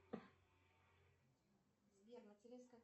сбер материнская